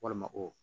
Walima o